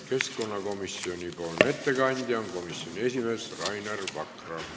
Keskkonnakomisjoni nimel teeb ettekande komisjoni esimees Rainer Vakra.